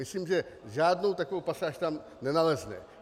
Myslím, že žádnou takovou pasáž tam nenalezneme.